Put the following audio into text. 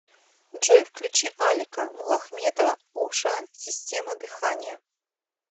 джой включи алика муллахметова о ша система дыхания